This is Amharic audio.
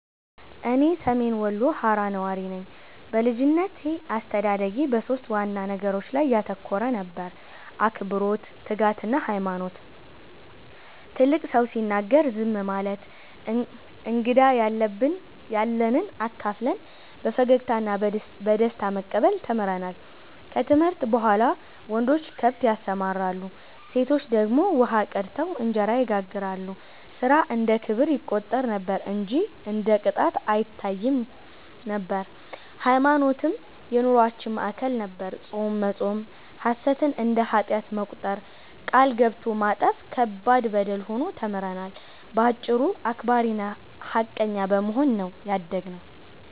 እኔ ሰሜን ወሎ ሃራ ነዋሪ ነኝ። በልጅነቴ አስተዳደጌ በሦስት ዋና ነገሮች ላይ ያተኮረ ነበር፤ አክብሮት፣ ትጋትና ሃይማኖት። ትልቅ ሰው ሲናገር ዝም ማለት፣ እንግዳን ያለንብ አካፍለን በፈገግታ እና በደስታ መቀበል ተምረናል። ከትምህርት በኋላ ወንዶች ከብት ያሰማራሉ፣ ሴቶች ደግሞ ውሃ ቀድተው እንጀራ ይጋግራሉ፤ ሥራ እንደ ክብር ይቆጠር ነበር እንጂ እንደ ቅጣት አይታይም። ሃይማኖትም የኑሮአችን ማዕከል ነበር፤ ጾም መጾም፣ ሐሰትን እንደ ኃጢአት መቁጠር፣ ቃል ገብቶ ማጠፍ ከባድ በደል ሆኖ ተምረናል። በአጭሩ አክባሪና ሃቀኛ በመሆን ነው ያደግነው።